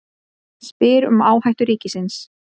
Spyr um áhættu ríkisins